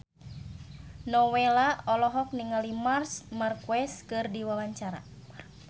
Nowela olohok ningali Marc Marquez keur diwawancara